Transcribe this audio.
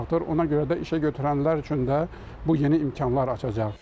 Ona görə də işə götürənlər üçün də bu yeni imkanlar açacaq.